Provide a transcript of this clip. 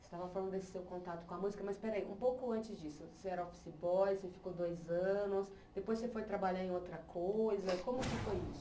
Você estava falando desse seu contato com a música, mas espera aí, um pouco antes disso, você era office boy, você ficou dois anos, depois você foi trabalhar em outra coisa, como que foi isso?